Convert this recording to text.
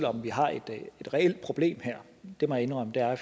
om vi har et reelt problem her det må jeg indrømme